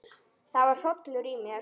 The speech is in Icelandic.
Það var hrollur í mér.